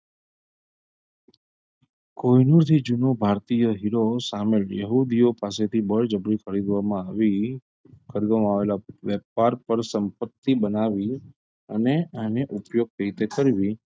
કોઈનું જે જુનું ભારતીય હીરો સામે વેહુદીઓ પાસેથી બળજબરી ખરીદવામાં આવી ખરીદવામાં આવેલા વેપાર પર સંપત્તિ બનાવી અને આને ઉપયોગ કેવી રીતે કરવી,